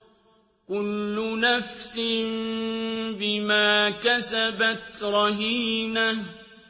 كُلُّ نَفْسٍ بِمَا كَسَبَتْ رَهِينَةٌ